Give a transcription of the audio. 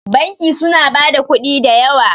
banki suna ba da kudi da yawa